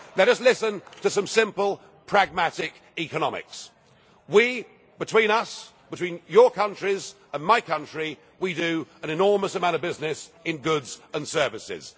Let us listen to some simple pragmatic economics. We, between us, between your countries and my country, do an enormous amount of business in goods and services.